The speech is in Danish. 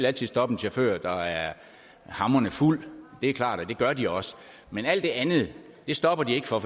altid stoppe en chauffør der er hamrende fuld det er klart og det gør de også men det andet stopper de ikke for